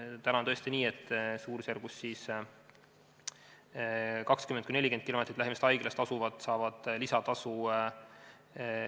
Praegu on tõesti nii, et lähimast haiglast 20–40 kilomeetri kaugusel asujad saavad lisatasu.